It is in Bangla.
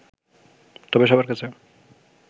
তবে সবার কাছে